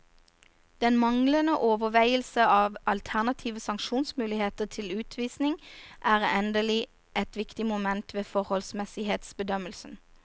Den manglende overveielse av alternative sanksjonsmuligheter til utvisning er endelig et viktig moment ved forholdsmessighetsbedømmelsen.